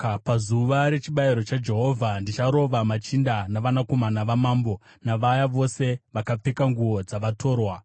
Pazuva rechibayiro chaJehovha, ndicharova machinda navanakomana vamambo, navaya vose vakapfeka nguo dzavatorwa.